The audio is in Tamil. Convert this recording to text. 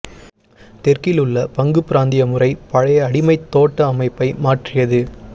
தெற்கில் உள்ள பங்குபிராந்திய முறை பழைய அடிமை தோட்ட அமைப்பை மாற்றியது